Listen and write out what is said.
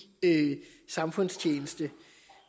samfundstjeneste